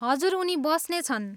हजुर, उनी बस्नेछन्।